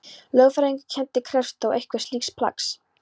Lögfræðingurinn hennar krefst þó einhvers slíks plaggs.